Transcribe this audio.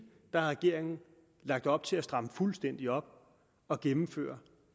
har regeringen lagt op til at stramme fuldstændig op og gennemføre